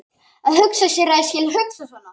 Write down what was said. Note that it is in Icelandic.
Að hugsa sér að ég skuli hugsa svona!